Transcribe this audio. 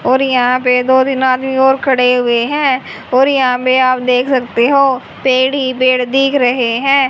और यहां पे दो तीन आदमी और खड़े हैं और यहां पे आप देख सकते हो पेड़ ही पेड़ दिख रहे है।